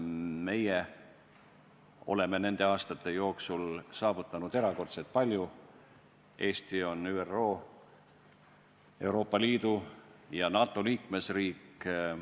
Meie oleme nende aastate jooksul saavutanud erakordselt palju – Eesti on ÜRO, Euroopa Liidu ja NATO liikmesriik.